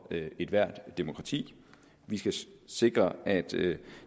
ethvert demokrati vi skal sikre at